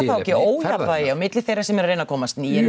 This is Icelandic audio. ekki ójafnvægi á milli þeirra sem eru að reyna að komast nýir